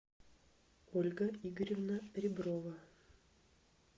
ольга игоревна реброва